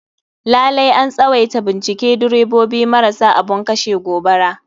Lalai an tswaita bincike direbobi marasa abun kashe gobara.